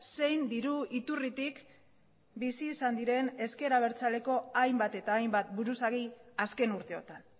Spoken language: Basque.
zein diru iturritik bizi izan diren ezker abertzaleko hainbat eta hainbat buruzagi azken urteotan